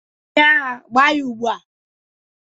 onye agha, gbaa ya ugbua